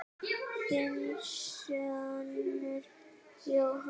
Þinn sonur, Jóhann.